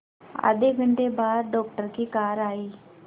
आधे घंटे बाद डॉक्टर की कार आई